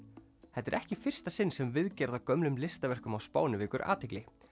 þetta er ekki í fyrsta sinn sem viðgerð á gömlum listaverkum á Spáni vekur athygli